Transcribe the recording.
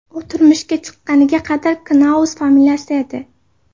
U turmushga chiqqaniga qadar Knaus familiyasida edi.